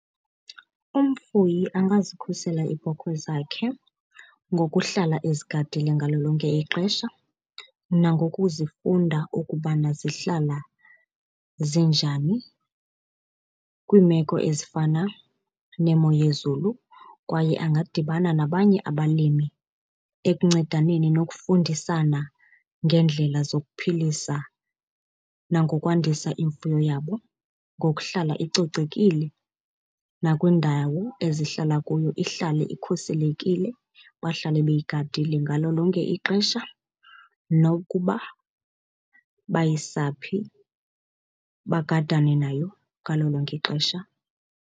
Umfuyi angazikhusela iibhokhwe zakhe ngokuhlala ezigadile ngalo lonke ixesha nangokuzifunda ukubana zihlala zinjani kwiimeko ezifana nemo yezulu. Kwaye angadibana nabanye abalimi ekuncedaneni nokufundisana ngeendlela zokuphilisa nangokwandisa imfuyo yabo ngokuhlala icocekile, nakwiindawo ezihlala kuyo ihlale ikhuselekile, bahlale beyigadile ngalo lonke ixesha, nokuba bayisaphi bagadane nayo ngalo lonke ixesha.